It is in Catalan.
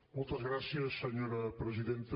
moltes gràcies senyora presidenta